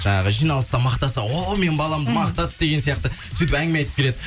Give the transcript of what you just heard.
жаңағы жиналыста мақтаса о менің баламды мақтады деген сияқты сөйтіп әңгіме айтып келеді